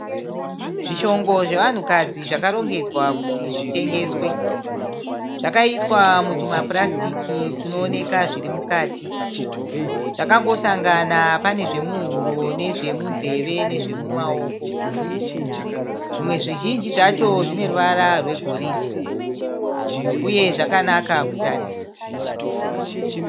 Zvishongo zvevanhukadzi zvakarongedzwa kuti zvitengeswe, zvakaiswa mutumapurasitiki twunooneka zvirimukati, zvakangosangana panezvemuhuro nezvemunzeve nezvemumaoko, zvimwe zvizhinji zvacho zvineruvara rwegoridhe uye zvinonakidza kutarisa.